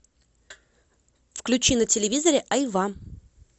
включи на телевизоре айва